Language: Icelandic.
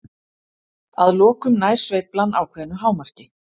Að lokum nær sveiflan ákveðnu hámarki.